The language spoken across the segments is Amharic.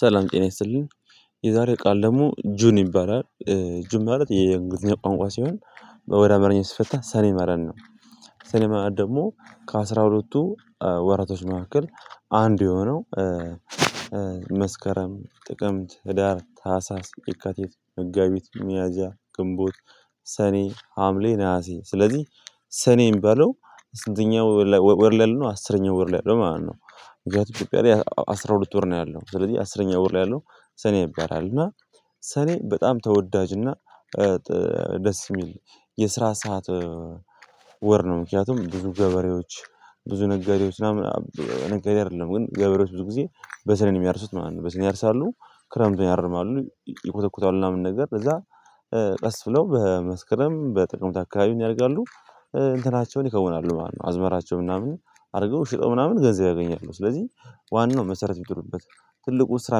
ሰላም ጤና ይስልኝ። የዛሬ ቃል ደግሞ ጁን ይባላል ጁን ማለት የእንግሊዝ ቋንቋ ሲሆን ወደ አማርኛ ሲፈታ ሰኔ ማለት ነው። ሰኔ ማለት ደግሞ ከአሥራ ሁለትቱ ወራቶች መካከል አንድ የሆነው መስከረም ጥቅምት ህዳር ታህሳስ የካቲት መጋቢት ሚያዝያ ግንቦት ሰኔ ሀምሌ ነሀሴ ስለዚህ ሰኔ የሚባለው ስንተኛው ወር ላይ ያለው ነው አስረኛው ወር ላይ ያለው ማለት ነው። ምክያቱም እትዮጵያ ላይ አስራ ሁለት ወር ነው ያለው ስለዚህ አስረኛ ወር ላይ ያለው ሰኔ ይባላል። እና ሰኔ በጣም ተወዳጅ እና ደስ የሚል የስራ ሰዓት። ወር ነው ምክንያቱም ብዙ ገበሬዎች ብዙ ነጋዴዎች ምናምን ነጋዴ አይደለም ግን ገበሬዎች ብዙ ጊዜ በሰኔ ነው የሚያርሱት ማለት ነው በሰኔ ያርሳሉ። ክረምቱን ያርማሉ ይኮተኩታሉ ምናምን ነገር ከዛ ቀስ ብለው በመስከረም በጥቅምት አካባቢ ምን ያደርጋሉ እንትናቸውን ይከውናሉ ማለት ነው። አዝመራቸው ምናምን አድርገው ሸጠው ምናምን ገንዘብ ያገኛሉ። ስለዚህ ዋናው መሰረት የሚጥሉበት ትልቁ ስራ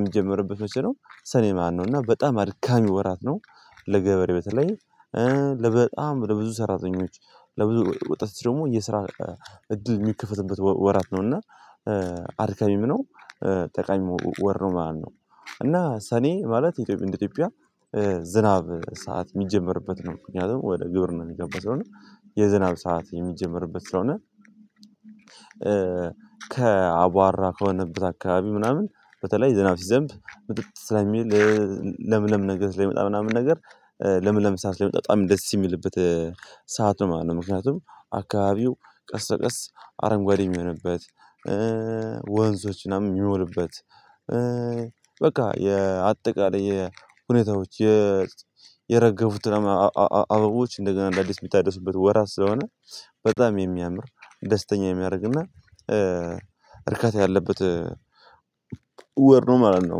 የሚጀምርበት መሰለኝ ሰኔ ማነው እና በጣም አድካሚ ወራት ነው። ለገበሬ በተለይ ለ በጣም ለብዙ ሰራተኞች ለብዙ ወጣት ደግሞ የስራ እድል የሚከፈትበት ወራት ነው እና አድካሚም ነው ጠቃሚም ወር ነው ማለት ነው። እና ሰኔ ማለት የኢትዮጵያ እንደ ኢትዮጵያ ዝናብ ሰዓት የሚጀመርበት ነው ምክንያቱም ወደ ግብርና የሚገባው ስለሆነ የዝናብ ሰዓት የሚጀምርበት ስለሆነ። ከ አቧራ ከሆነበት አካባቢ ምናምን በተለይ የዝናብ ሲዘንብብ ምጥጥ ስለሚል ለምለም ነገር ስለሚመጣ ምናምን ነገር ለምለም ሰዓት ላይ መጣ በጣም ደስ የሚልበት ሰዓት ነው ማለት ነው። ምክንያቱም አካባቢው ቀስ በቀስ አረንጓዴ የሚሆንበት ወንዞች ምናምን የሚሞልበት የሚሆንበት በቃ የአጠቃላይ የሁኔታዎች የረገፉት አበቦች እንደገና አዳዲስ የሚታደርሱበት ወራት ስለሆነ በጣም የሚያምር ደስተኛ የሚያደርግና እርካታ ያለበት ወር ነው ማለት ነው።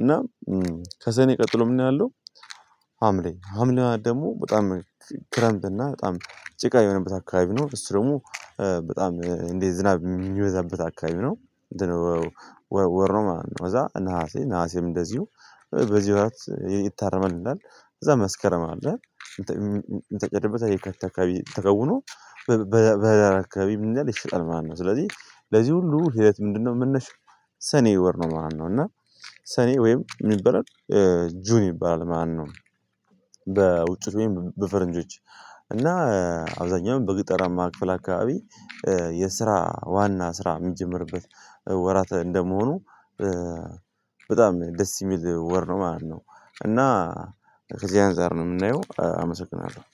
እና ከሰኔ ቀጥሎ ምንድን ነው ያለው? ሀምሌ ሀምሌ ደግሞ በጣም ክረምት እና በጣም ጭቃ የሆነበት አካባቢ ነው እሱ ደግሞ በጣም እንዴ ዝናብ የሚወዛበት አካባቢ ነው። ወር ነው ማለት ነው። ከዛ ነሀሴ ነሀሴም እንደዚሁ በዚህ ወራት ይታረማል ምን ይላል? ከዛ መስከረም አለ የታጨደበት የካቲት አካባቢ ተከውኖ በህዳር አካባቢ ምን ይላል ይሸጣል ማለት ነው። ስለዚህ ለዚህ ሁሉ ሂደት ምንድነው መነሻው? ሰኔ ወር ነው ማለት ነው። እና ሰኔ ወይም ምን ይባላል? ጁን ይባላል ማነው? በውጭት ወይም በፈረንጆች እና አብዛኛው በገጠራማ ክፍል አካባቢ የስራ ዋና ስራ የሚጀምርበት ወራት እንደመሆኑ ደስ የሚል ወር ነው ማለት ነው። እና ከዚህ አንፃር ነው የምናየው አመሰግናለሁ